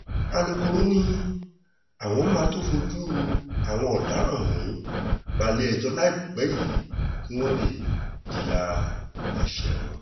alukkóró ni àwọn máa tóó fojú àwọn ọ̀daràn ọ̀hún balẹ̀-ẹjọ́ láìpẹ́ yìí kí wọ́n lè jìyà ẹ̀ṣẹ̀ wọn